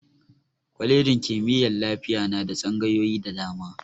Kwalejin kimiyyar lafiya na da tsangayoyi da dama.